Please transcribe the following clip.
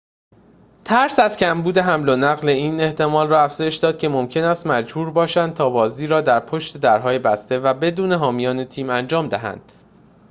ترس از کمبود حمل‌ونقل این احتمال را افزایش داد که ممکن است مجبور باشند تا بازی را در پشت درهای بسته و بدون حامیان تیم انجام دهند